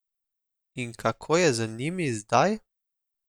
In kako je z njimi zdaj?